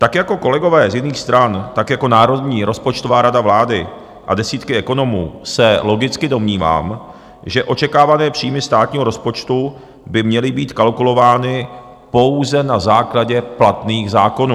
Tak jako kolegové z jiných stran, tak jako Národní rozpočtová rada vlády a desítky ekonomů se logicky domnívám, že očekávané příjmy státního rozpočtu by měly být kalkulovány pouze na základě platných zákonů.